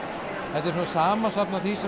þetta er samansafn af því sem